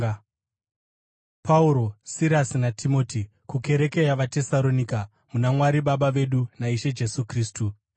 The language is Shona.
Pauro, Sirasi naTimoti, kukereke yavaTesaronika muna Mwari Baba vedu naIshe Jesu Kristu: